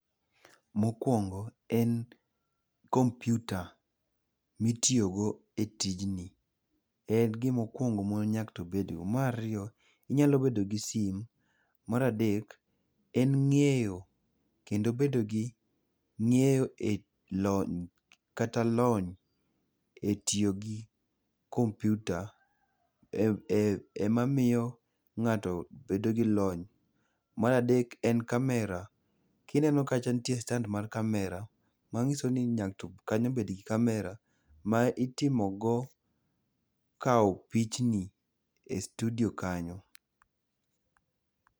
Mokwongo, en kompyuta mitiyogo e tijni. En gimokwongo mwa nyaka to wabedgo. Mar ariyo, inyalo bedo gi simu. Mar adek, en ng'eyo kendo bedo gi ng'eyo e lony kata lony e tiyo gi kompyuta emamiyo ng'ato bedo gi lony. Mar adek, en kamera. Kineno kacha nitie stand mar kamera, manyiso ni kanyo bedgi kamera ma itimogo, kawo pichni e studio kanyo.